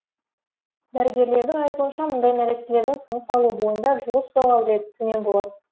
дәрігерлердің айтуынша мұндай нәрестелердің тыныс алу бойында жылу ұстау қабілеті төмен болады